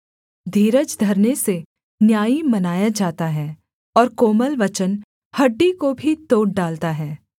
धीरज धरने से न्यायी मनाया जाता है और कोमल वचन हड्डी को भी तोड़ डालता है